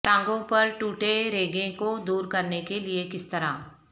ٹانگوں پر ٹوٹے رگیں کو دور کرنے کے لئے کس طرح